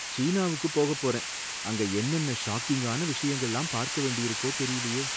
சீனாவுக்கு போகப் போறேன், அங்க என்னென்ன ஷாக்கிங்கான விஷயங்கள்லாம் பார்க்க வேண்டியிருக்கோ தெரியலயே!